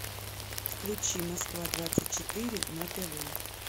включи москва двадцать четыре на тв